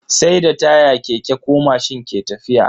Sai da taya keke ko mashin ke tafiya.